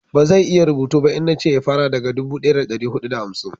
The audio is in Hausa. ba zai iya rubutu ba in nace ya fara daga dubu daya da dari hudu da hamsin